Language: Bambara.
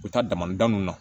U bɛ taa damadamanw na